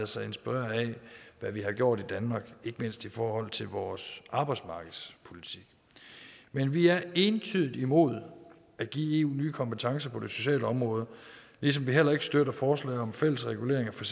sig inspirere af hvad vi har gjort i danmark ikke mindst i forhold til vores arbejdsmarkedspolitik men vi er entydigt imod at give nye kompetencer på det sociale område ligesom vi heller ikke støtter forslaget om en fælles regulering af for